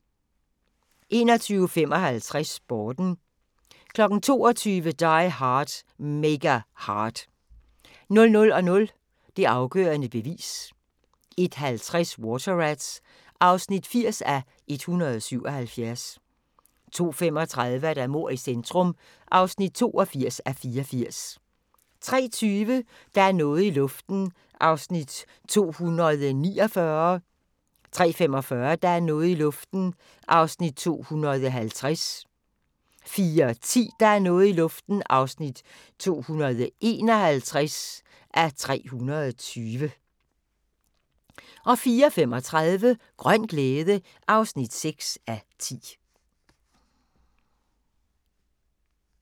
21:55: Sporten 22:00: Die Hard – Mega Hard 00:00: Det afgørende bevis 01:50: Water Rats (80:177) 02:35: Mord i centrum (82:84) 03:20: Der er noget i luften (249:320) 03:45: Der er noget i luften (250:320) 04:10: Der er noget i luften (251:320) 04:35: Grøn glæde (6:10)